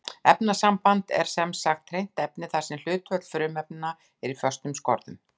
Efnasamband er sem sagt hreint efni þar sem hlutföll frumefnanna er í föstum skorðum.